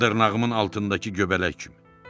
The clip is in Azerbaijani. Dırnağımın altındakı göbələk kimi.